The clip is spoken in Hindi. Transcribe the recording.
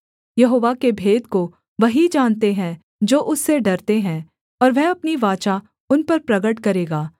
यहोवा के भेद को वही जानते हैं जो उससे डरते हैं और वह अपनी वाचा उन पर प्रगट करेगा